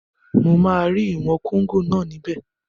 Mo máa rí ìwọ̀n kóngò náà níbẹ̀